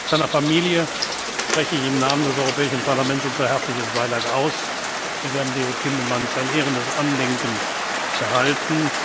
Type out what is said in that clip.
Seiner Familie spreche ich im Namen des Europäischen Parlaments unser herzliches Beileid aus. Wir werden Leo Tindemans ein ehrendes Andenken behalten.